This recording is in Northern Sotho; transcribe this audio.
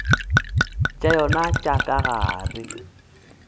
tša yona tša ka gare